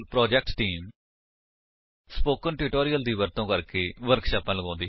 spoken tutorial project team spoken tutorial ਦੀ ਵਰਤੋ ਕਰਕੇ ਵਰਕਸ਼ਾਪਾਂ ਲਗਾਉਂਦੀ ਹੈ